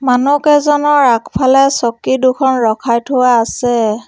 মানু্হকেইজনৰ আগফালে চকী দুখন ৰখাই থোৱা আছে।